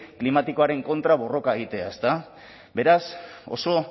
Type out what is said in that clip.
klimatikoaren kontra borroka egitea eta beraz oso